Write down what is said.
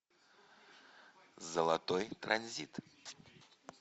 золотой транзит